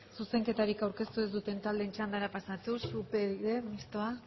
zuzenketari aurkeztu ez duten taldearen txandara pasatuz upyd mistoa